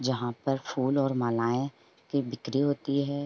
जहाँ पर फूल और मालाएं की बिक्री होती हैं।